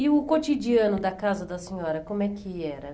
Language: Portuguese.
E o cotidiano da casa da senhora, como é que era?